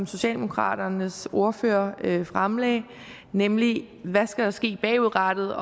socialdemokraternes ordfører fremlagde nemlig om hvad der skal ske bagudrettet